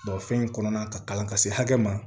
fɛn in kɔnɔna ka kalan ka se hakɛ ma